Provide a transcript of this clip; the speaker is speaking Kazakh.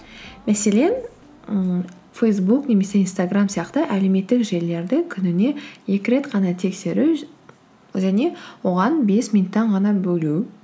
мәселен ііі фейсбук немесе инстаграм сияқты әлеуметтік желілерді күніне екі рет қана тексеру және оған бес минуттан ғана бөлу